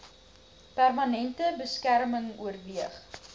permanente beskerming oorweeg